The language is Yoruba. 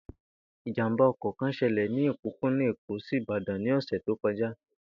Ìjàmbá o̩kò̩ kan s̩e̩lè̩ ní òpópónà Èkó sí Ìbàdàn ní ò̩sè̩ tí ó ko̩já